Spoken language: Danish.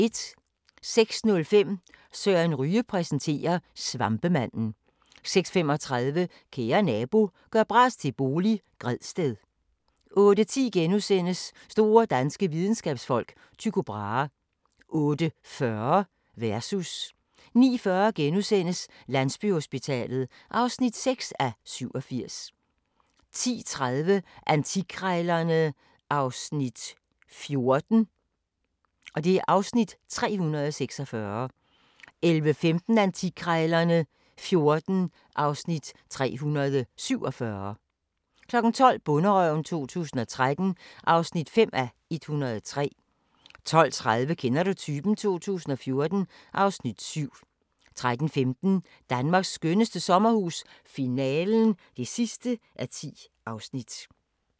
06:05: Søren Ryge præsenterer: Svampemanden 06:35: Kære nabo – gør bras til bolig – Gredsted 08:10: Store danske videnskabsfolk: Tycho Brahe * 08:40: Versus 09:40: Landsbyhospitalet (6:87)* 10:30: Antikkrejlerne XIV (Afs. 346) 11:15: Antikkrejlerne XIV (Afs. 347) 12:00: Bonderøven 2013 (5:103) 12:30: Kender du typen? 2014 (Afs. 7) 13:15: Danmarks skønneste sommerhus - finalen (10:10)